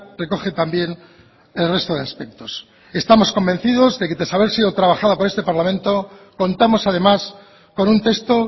recoge también el resto de aspectos estamos convencidos de que tras haber sido trabajada por este parlamento contamos además con un texto